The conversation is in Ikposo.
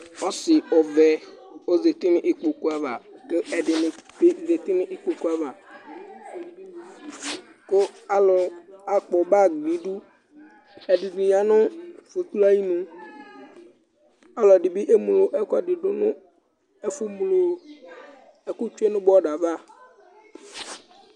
Ɔsi ɔvɛ ɔzɛti ŋu ikpoku ava kʋ ɛɖìní bi zɛti ŋu ikpoku ava Alu akpɔ bag ŋu iɖʋ Ɛɖìní yaŋʋ fotruɛ ayʋŋu Aluɛɖìŋí bi kemlo ɛku ŋu ɛfʋ mlo ɛku tsʋe ŋu border ava